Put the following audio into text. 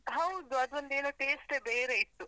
ಹೌದು, ಅದೊಂದೇನೋ taste ಏ ಬೇರೆ ಇತ್ತು.